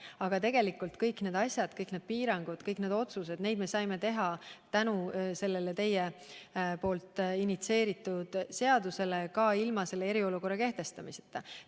Aga tegelikult kõik need asjad, kõik need piirangud, kõik need otsused – neid me saime teha tänu teie initsieeritud seadusele ka ilma eriolukorda kehtestamata.